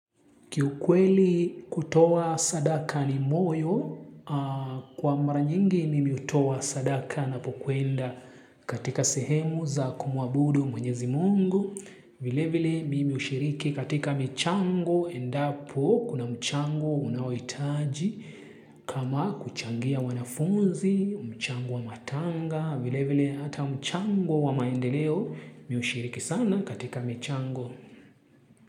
Kiukweli kutoa sadaka ni moyo, kwa mara nyingi mimi hutoa sadaka ninapokwenda katika sehemu za kumuabudu mwenyezi Mungu. Vile vile mimi hushiriki katika michango, endapo kunamchango unaohitaji, kama kuchangia wanafunzi, mchango wa matanga, vile vile hata mchango wa maendeleo, mimi hushiriki sana katika michango.